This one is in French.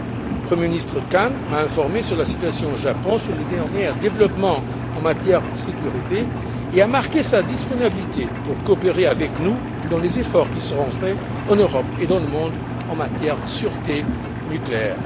Le Premier ministre Kan m'a informé sur la situation au Japon, sur les derniers développements en matière de sécurité, et a marqué sa disponibilité pour coopérer avec nous dans les efforts qui seront faits, en Europe et dans le monde, en matière de sûreté nucléaire.